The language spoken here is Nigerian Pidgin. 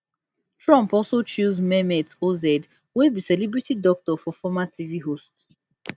trump also choose mehmet oz wey be celebrity doctor and former tv host